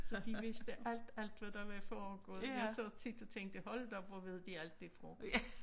Så de vidste alt alt hvad der var foregået jeg sad tit og tænkte hold da op hvor ved de alt det foregik